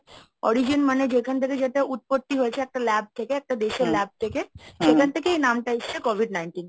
origin মানে যেখান থেকে যেটা উৎপত্তি হয়েছে একটা lab থেকে একটা দেশের lab থেকে সেখান থেকে এই নামটা এসছে COVID nineteen।